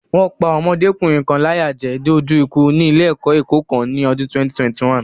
Wọ́n pá ọmọdékùnrin kan láyà jẹ dé ojú ikú ní ilé-ẹ̀kọ́ Èkó kan ní ọdún 2021.